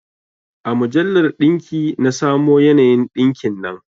A mujallar ɗinki na samo yanayin ɗinkin nan